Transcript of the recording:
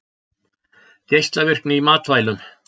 Geislavirkni í matvælum